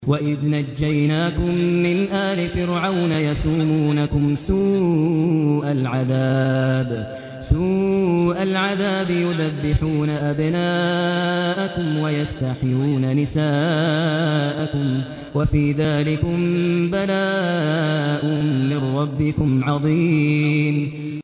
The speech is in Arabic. وَإِذْ نَجَّيْنَاكُم مِّنْ آلِ فِرْعَوْنَ يَسُومُونَكُمْ سُوءَ الْعَذَابِ يُذَبِّحُونَ أَبْنَاءَكُمْ وَيَسْتَحْيُونَ نِسَاءَكُمْ ۚ وَفِي ذَٰلِكُم بَلَاءٌ مِّن رَّبِّكُمْ عَظِيمٌ